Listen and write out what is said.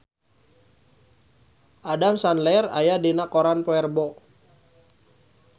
Adam Sandler aya dina koran poe Rebo